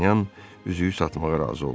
Dartanyan üzüyü satmağa razı oldu.